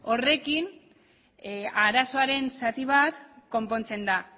horrekin arazoaren zati bat konpontzen da